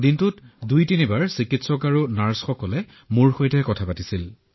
দিনত দুবাৰতিনিবাৰকৈ চিকিৎসক আহিছিল নাৰ্ছো আহিছিল